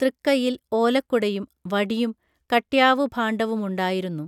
തൃക്കയ്യിൽ ഓലക്കുടയും വടിയും കട്യാവുഭാണ്ഡവുമുണ്ടായിരുന്നു